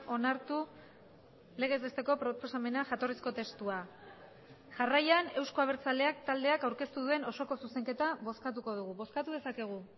onartu legez besteko proposamena jatorrizko testua jarraian euzko abertzaleak taldeak aurkeztu duen osoko zuzenketa bozkatuko dugu bozkatu dezakegu